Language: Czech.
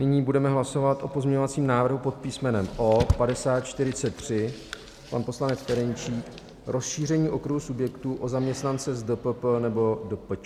Nyní budeme hlasovat o pozměňovacím návrhu pod písmenem O 5043, pan poslanec Ferjenčík, rozšíření okruhu subjektů o zaměstnance s DPP nebo DPČ.